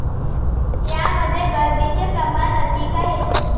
यामध्ये गर्दीचे प्रमाण अधिक आहे.